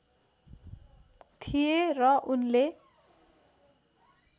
थिए र उनले